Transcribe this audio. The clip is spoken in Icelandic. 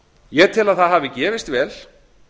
ég tel að það hafi gefist vel